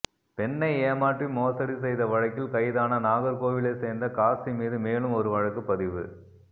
பெண்ணை ஏமாற்றி மோசடி செய்த வழக்கில் கைதான நாகர்கோவிலைச் சேர்ந்த காசி மீது மேலும் ஒரு வழக்கு பதிவு